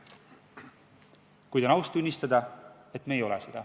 Kuid on aus tunnistada, et seda me ei ole.